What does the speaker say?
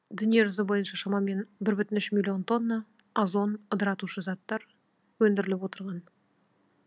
дүние жүзі бойынша шамамен бір бүтін үш миллион тонна озон ыдыратушы заттар өндіріліп отырған